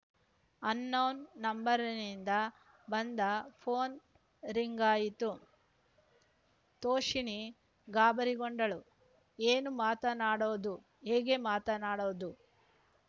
unknown ನಂಬರ್‌ನಿಂದ ಬಂದ phone ರಿಂಗಾಯಿತು ತೋಷಿಣೀ ಗಾಬರಿಗೊಂಡಳು ಏನು ಮಾತನಾಡೋದು ಹೇಗೆ ಮಾತನಾಡೋದು